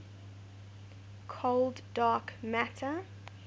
cold dark matter